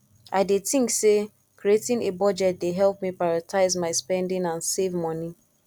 i dey think say creating a budget dey help me prioritize my spending and save monie